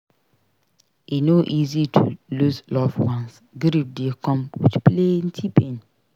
E no easy to lose loved ones; grief dey come with plenty pain.